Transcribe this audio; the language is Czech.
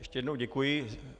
Ještě jednou děkuji.